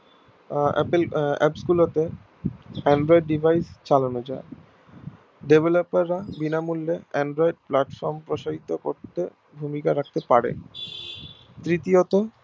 apple apps গুলো কে android device এ চালানো যাই developer রা বিনা মূল্যে android platform প্রসারিত করতে ভূমিকা রাখতে পারে তৃতীয়ত